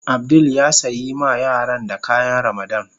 Abdul ya sayi ma yaran da kayan Ramadan.